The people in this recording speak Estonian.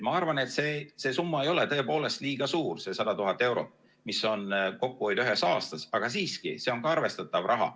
Ma arvan, et see summa ei ole tõepoolest liiga suur, see 100 000 eurot, mis on kokkuhoid ühes aastas, aga siiski see on ka arvestatav raha.